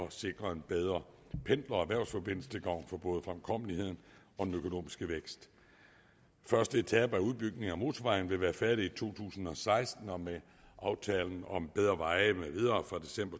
at sikre en bedre pendler og erhvervsforbindelse til gavn for både fremkommeligheden og den økonomiske vækst første etape af udbygningen af motorvejen vil være færdig i to tusind og seksten og med aftalen om bedre veje med videre fra december